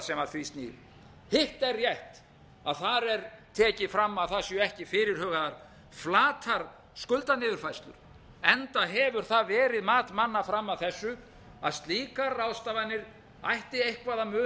því snýr hitt er rétt að þar er tekið fram að það séu ekki fyrirhugaðar flatar skuldaniðurfærslur enda hefur það verið mat manna fram að þessu að slíkar ráðstafanir ætti eitthvað að muna um þær yrðu